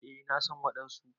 Eh na san wadansu.